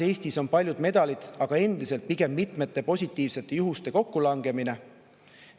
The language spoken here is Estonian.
Eestis on paljud medalid tulnud aga pigem mitmete positiivsete juhuste kokkulangemise tõttu.